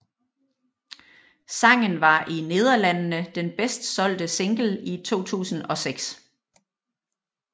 Sangen var i Nederlandene den bedst solgte single i 2006